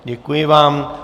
Děkuji vám.